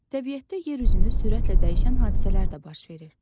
Təbiətdə yer üzünü sürətlə dəyişən hadisələr də baş verir.